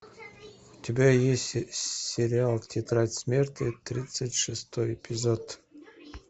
у тебя есть сериал тетрадь смерти тридцать шестой эпизод